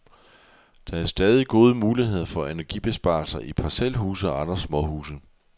Der er stadig gode muligheder for energibesparelser i parcelhuse og andre småhuse.